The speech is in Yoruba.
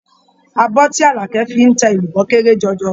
Abọ́ tí Àlàkẹ́ fi ń ta èlùbọ́ kéré jọjọ.